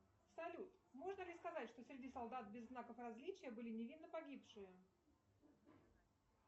салют можно ли сказать что среди солдат без знаков различия были невинно погибшие